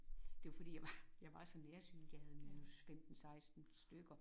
Det var fordi jeg var jeg var så nærsynet jeg havde minus 15 16 stykker